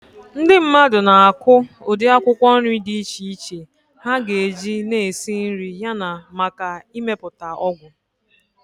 Ndị mmadụ na-akụ ụdị akwụkwọ nri dị iche iche ha ga-eji na esi nri yana maka imepụta ọgwụ.